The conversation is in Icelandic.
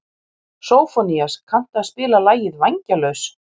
Sófónías, kanntu að spila lagið „Vængjalaus“?